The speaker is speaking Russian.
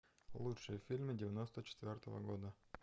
лучшие фильмы девяносто четвертого года